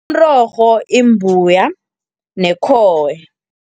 Umrorho, imbuya nekhowe.